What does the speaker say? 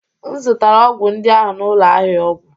M zụtara ọgwụ ndị ahụ n'ụlọ ahịa ọgwụ